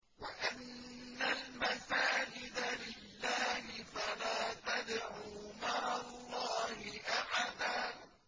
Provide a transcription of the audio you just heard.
وَأَنَّ الْمَسَاجِدَ لِلَّهِ فَلَا تَدْعُوا مَعَ اللَّهِ أَحَدًا